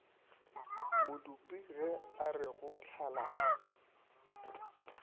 modupi ge are go hlala